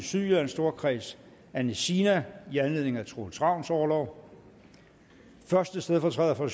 sydjyllands storkreds anne sina i anledning af troels ravns orlov første stedfortræder for